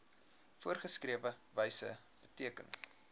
voorgeskrewe wyse beteken